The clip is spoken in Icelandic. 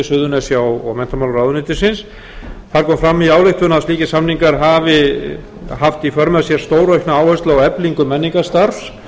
suðurnesja og menntamálaráðuneytisins það kom fram í ályktun að slíkir samningar hafi haft í för með sér stóraukna áherslu á eflingu menningarstarfs